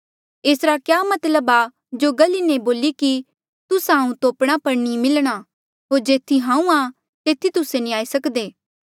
एसरा क्या मतलब आ जो गल इन्हें बोली कि तुस्सा हांऊँ तोपणा पर नी मिलणा होर जेथी हांऊँ आ तेथी तुस्से नी आई सक्दे